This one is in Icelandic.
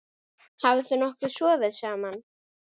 Hafið þið nokkuð sofið saman?